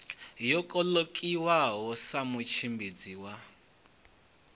yo kolekiwaho sa mutshimbidzi wa